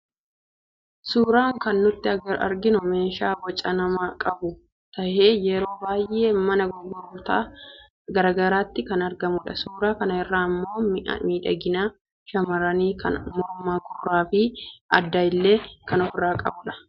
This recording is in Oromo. Suuraa kan nuti arginu meeshaa boca namaa qabu tahee yeroo baayee mana gurguttaa garaagaraatti kan argamudha. Suuraa kana irraa immoo mi'a miidhagina shammarranii kan mormaa, gurraafi addaa illee kan ofiirraa qabuudha.